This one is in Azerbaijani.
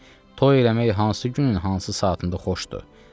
Toy eləmək hansı günün hansı saatında xoşdur?